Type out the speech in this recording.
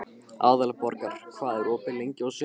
Aðalborgar, hvað er opið lengi á sunnudaginn?